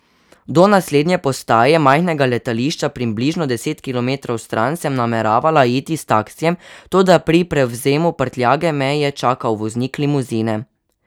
Do naslednje postaje, majhnega letališča približno deset kilometrov stran, sem nameravala iti s taksijem, toda pri prevzemu prtljage me je čakal voznik limuzine.